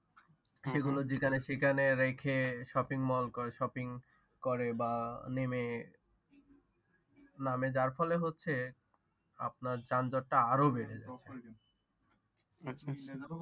সেগুলো যেখানে সেখানে রেখে Shopping mall Shopping করে বা নেমে, নামে যার ফলে হচ্ছে আপনার যানযট টা আরো বেড়ে যায়